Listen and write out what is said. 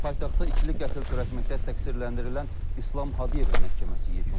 Paytaxtda ikili qətl törətməkdə təqsirləndirilən İslam Hadiyevin məhkəməsi yekunlaşıb.